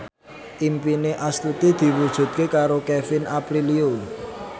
impine Astuti diwujudke karo Kevin Aprilio